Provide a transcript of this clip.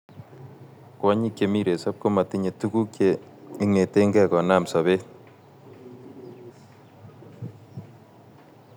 kwanyiik chemii resorp komatinye tuguuk cheingetenge konam sabeet